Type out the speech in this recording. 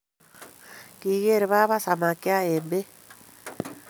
Kigeer baba samakya eng beek